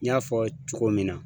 N y'a fɔ cogo min na.